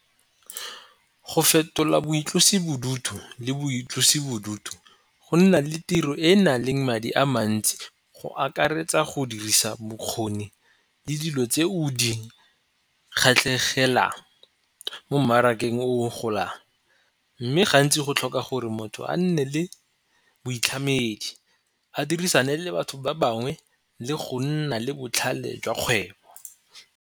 Go fetola boitlosibodutu le boitlosibodutu go nna le tiro e e na leng madi a mantsi go akaretsa go dirisa bokgoni le dilo tse o di kgatlhegelang mo mmarakeng o golang. Mme gantsi go tlhoka gore motho a nne le boitlhamedi, a dirisane le batho ba bangwe le go nna le botlhale jwa kgwebo.